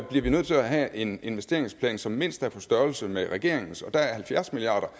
bliver vi nødt til at have en investeringsplan som mindst er på størrelse med regeringens og da halvfjerds milliard